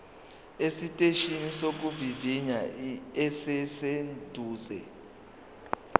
esiteshini sokuvivinya esiseduze